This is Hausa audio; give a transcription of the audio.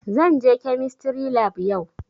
Zan je kemistry lab yau